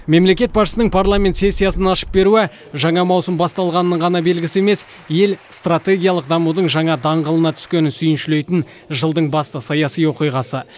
мемлекет басшысының парламент сессиясын ашып беруі жаңа маусым басталғанының ғана белгісі емес ел стратегиялық дамудың жаңа даңғылына түскенін сүйіншілейтін жылдың басты саяси оқиғасы